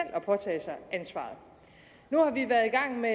at påtage sig ansvaret nu har vi været i gang med